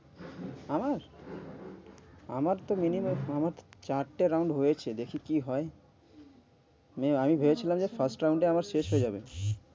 আমার আমার তো মনে হয়, আমার চারটে round হয়েছে, দেখি কি হয় আমি ভেবেছিলাম যে first round টা আমার শেষ হয়ে যাবে,